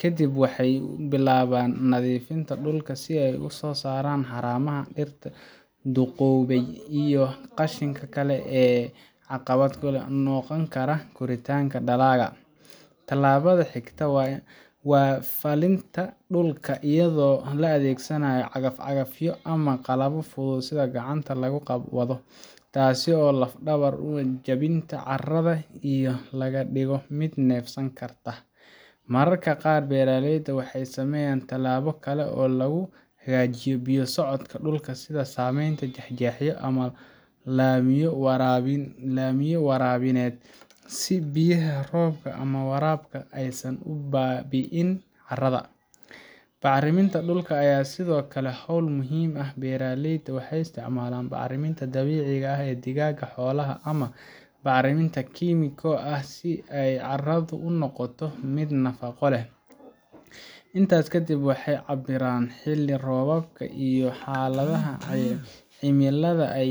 Ka dib, waxay bilaabaan nadiifinta dhulka oo ay ka saaraan haramaha, dhirta duqoobay iyo qashinka kale ee caqabad ku noqon kara koritaanka dalagga. Tallaabada xigta waa falkinta dhulka iyadoo la adeegsanayo cagaf-cagafyo ama qalabyo fudud oo gacanta lagu wado, taas oo lafdhabar u ah jabinta carrada iyo in laga dhigo mid neefsan karta. Mararka qaar beeraleyda waxay sameeyaan tallaabo kale oo lagu hagaajinayo biyo-socodka dhulka, sida samaynta jeexjeexyo ama laamiyo waraabineed, si biyaha roobka ama waraabka aysan u baabi’in carrada. Bacriminta dhulka ayaa sidoo kale ah hawl muhiim ah; beeraleyda waxay isticmaalaan bacriminta dabiiciga ah sida digada xoolaha ama bacriminta kiimiko ah si ay carradu u noqoto mid nafaqo leh. Intaa kadib, waxay cabbiraan xilli-roobaadka iyo xaaladaha cimilada